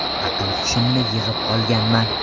Aql-hushimni yig‘ib olganman.